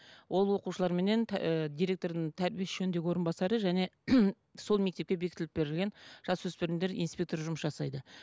ол оқушыларменен директордың тәрбие ісі жөніндегі орынбасары және сол мектептке беітіліп берілген жасөспірім инспекторы жұмыс жасайды